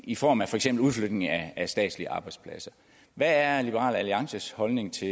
i form af for eksempel udflytning af statslige arbejdspladser hvad er liberal alliances holdning til